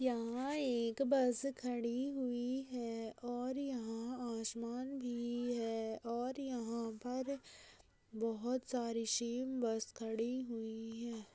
यहाँ एक बस खड़ी हुई है और यहाँ आसमान भी है और यहाँ पर बहुत सारी सेम बस खड़ी हुई है।